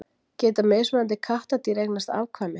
Geta mismunandi kattardýr eignast afkvæmi?